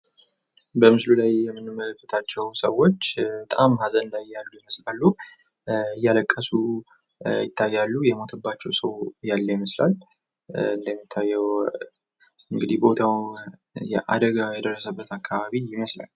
በምስሉ ላይ የምንመለከታቸው ሰዎች በጣም ሀዘን ላይ ያሉ ይመስላሉ። እያለቀሱ ይታያሉ የሞተባቸው ሰዎች ያለ ይመስላል እንደሚታየው እንግዲህ ቦታው የአደጋ የደረሰበት አካባቢ ይመስላል።